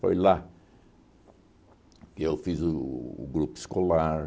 Foi lá que eu fiz o o grupo escolar.